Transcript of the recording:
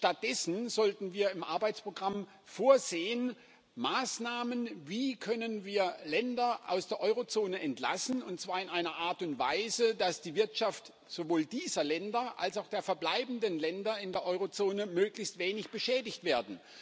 Stattdessen sollten wir im Arbeitsprogramm Maßnahmen vorsehen Wie können wir Länder aus der Eurozone entlassen, und zwar in einer Art und Weise, dass die Wirtschaft sowohl dieser Länder als auch der verbleibenden Länder in der Eurozone möglichst wenig beschädigt wird.